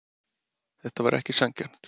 Þetta var ekki sanngjarnt.